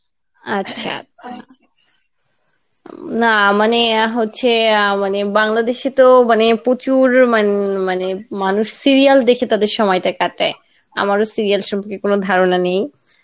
আচ্ছা আচ্ছা আচ্ছা উম না মানে আহ হচ্ছে আহ মানে বাংলাদেশে তো মানে প্রচুর মান মানে মানুষ serial দেখে তারা তাদের সময়টা কাটায় আমারও serial সন্মন্ধে কোনো ধারণা নেই,